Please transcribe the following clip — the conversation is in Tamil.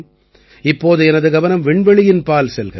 இப்போது எனது கவனம் விண்வெளியின்பால் செல்கிறது